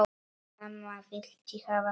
Amma vildi hafa mig.